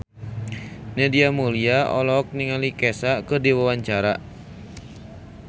Nadia Mulya olohok ningali Kesha keur diwawancara